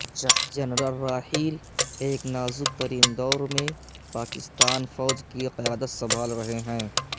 general Raheel ایک نازک ترین دور میں پاکستان فوج کی قیادت سنبھال رہے ہیں